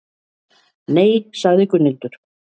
Nei, sagði Gunnhildur.